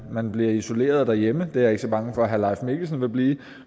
man bliver isoleret derhjemme det er jeg ikke så bange for herre leif mikkelsen vil blive